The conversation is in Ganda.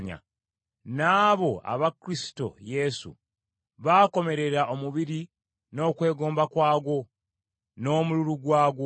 N’abo aba Kristo Yesu baakomerera omubiri n’okwegomba kwagwo, n’omululu gwagwo.